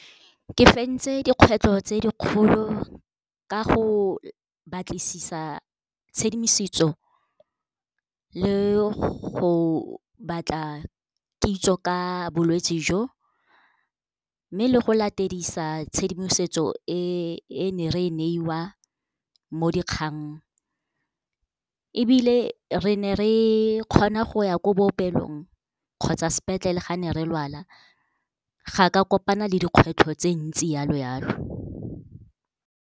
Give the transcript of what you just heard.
Ke fentse dikgwetlho tse dikgolo ka go batlisisa tshedimosetso le go batla kitso ka bolwetsi jo. Mme le go latedisa tshedimosetso e ne re e neiwa mo dikgang, ebile re ne re kgona go ya ko bookelong kgotsa sepetlele, ga ne re lwala. Ga ka kopana le dikgwetlho tse ntsi yalo-yalo.